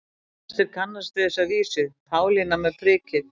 Flestir kannast við þessa vísu: Pálína með prikið